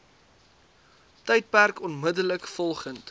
tydperk onmiddellik volgend